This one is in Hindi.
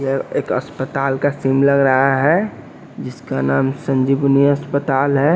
यह एक अस्पताल का सिम सीन लग रहा है जिसका नाम संजीबुनिया अस्पताल है।